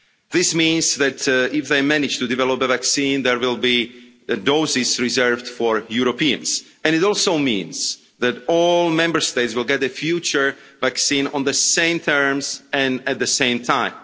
This means that, if they manage to develop a vaccine, there will be doses reserved for Europeans. It also means that all Member States will get a future vaccine on the same terms and at the same time.